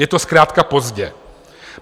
Je to zkrátka pozdě.